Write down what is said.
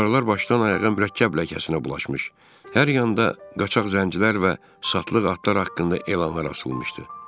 Divarlar başdan-ayağa mürəkkəb ləkəsinə bulaşmış, hər yanda qaçaq zəncirlər və satlıq atlar haqqında elanlar asılmışdı.